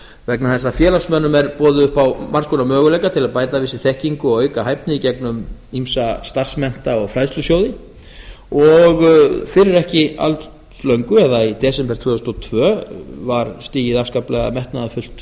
vegna þess að félagsmönnum er boðið upp á margs konar möguleika til að bæta við sig þekkingu og auka hæfni í gegnum býsna starfsmennta og fræðslusjóði fyrir ekki alls löngu eða í desember tvö þúsund og tvö var stigið afskaplega metnaðarfullt